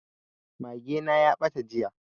Mage na ya ɓata jiya